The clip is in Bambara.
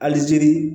Alizeiri